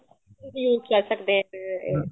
ਇਓਂ ਹੀ ਕਹਿ ਸਕਦੇ ਹੈਗੇ